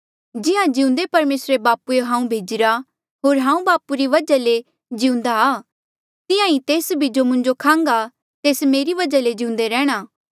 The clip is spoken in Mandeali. जिहां जिउंदे परमेसर बापूए हांऊँ भेजिरा होर हांऊँ बापू री बजहा ले जिउंदा आ तिहां ई तेस भी जो मुंजो खांहगा तेस मेरी बजहा ले जिउंदे रैंह्णां